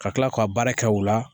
Ka kila k'o baara kɛ o la